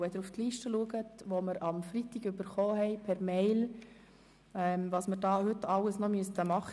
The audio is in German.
Wenn Sie sich die Liste anschauen, die wir am Freitag per E-Mail erhalten haben, sehen Sie, was wir heute alles noch beraten müssten.